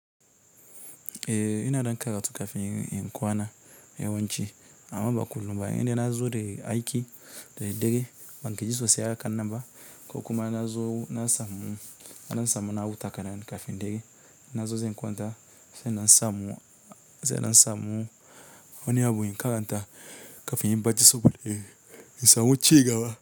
Ehh ina ɗan karatu kafini inyi kwana yawanci amma ba kullumba. Yende nazo deyu aymiki de dare banga jiso se haka nanba ko kuma nazo na samu, na samu na hutawa kafin kafin dare. Nazo ze kwanta se na samu, se na samu wani abu in karanta kafin inyi bacci in samu cigaba.